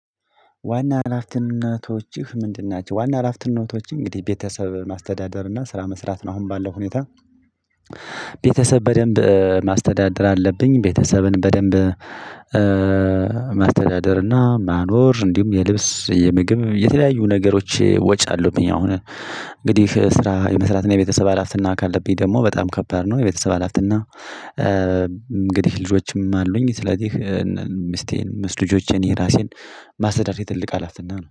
ዋና አላፍተነቶችህ ምንድን ናቸው? ዋና አላፍተነቶችህ እንግዲህ ቤተሰብ ማስተዳደር እና ስራ መስራት ነው። አሁን ባለው ሁኔታ ቤተሰብ በደንብ ማስተዳደር አለብኝ። ቤተሰብን በደንብ ማስተዳደርና ማኖር እንዲሁም የልብስ የምግብ የተለያዩ ነገሮች ወጫለሁኝ። አሁን እንግዲህ ስራ የመስራትና የቤተሰብ ሀላፍትና ካለብኝ ደግሞ በጣም ከባድ ነው። የቤተሰብ ሀላፍትና ልጆችም አሉኝ። ስለዚህ ምስቴን ምስት ልጆቼን የራሴን ማስተዳደር ትልቅ ሀላፌነት ነው